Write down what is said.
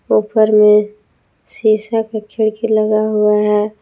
ऊपर में शीशा का खिड़की लगा हुआ है।